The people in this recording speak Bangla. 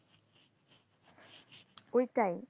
ওইটাই